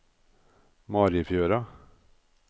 Marifjøra